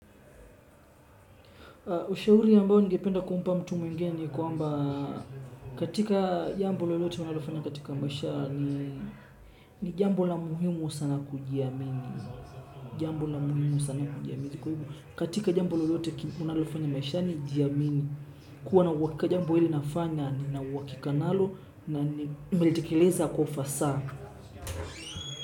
Ushauri ambao ningependa kumpa mtu mwingine ni kwamba katika jambo lolote unalofanya katika maisha ni jambo la muhimu muhimu sana kujiamini. Katika jambo lolote unalofanya maishani jiamini. Kuwa na uwakika jambo hili nafanya ninauwakika nalo na nimelitekeleza kwa ufasaa.